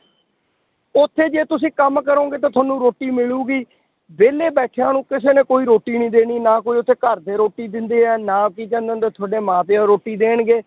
ਉੱਥੇ ਜੇ ਤੁਸੀਂ ਕੰਮ ਕਰੋਂਗੇ ਤਾਂ ਤੁਹਾਨੂੰ ਰੋਟੀ ਮਿਲੇਗੀ, ਵਿਹਲੇ ਬੈਠਿਆਂ ਨੂੰ ਕਿਸੇ ਨੇ ਕੋਈ ਰੋਟੀ ਨੀ ਦੇਣੀ ਨਾ ਕੋਈ ਉੱਥੇ ਘਰਦੇ ਰੋਟੀ ਦਿੰਦੇ ਹੈ, ਨਾ ਕੀ ਕਹਿੰਦੇ ਹੁੰਦੇ ਆ ਤੁਹਾਡੇ ਮਾਂ ਪਿਓ ਰੋਟੀ ਦੇਣਗੇ,